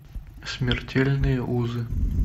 смертельные узы